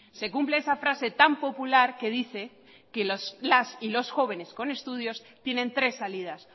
se cumple esa frase tan popular que dice que las y los jóvenes con estudios tienen tres salidas